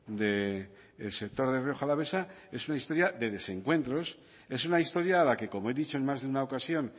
del sector de rioja alavesa es una historia de desencuentros es una historia a la que como he dicho en más de una ocasión